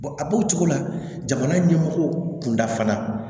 a b'o cogo la jamana ɲɛmɔgɔ kunda fana